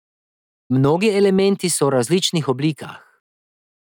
Mnogi elementi so v različnih oblikah.